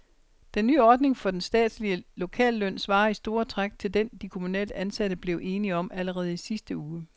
Den nye ordning for den statslige lokalløn svarer i store træk til den, de kommunalt ansatte blev enige om allerede i sidste uge.